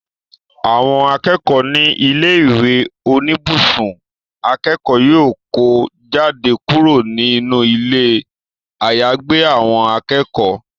Àwọn akẹ́kọ̀ọ́ ní ilé ìwé oníbùsùn akẹ́kọ̀ọ́ yóò kó jáde kúrò nínú ilé àyàgbé àwọn akẹ́kọ̀ọ́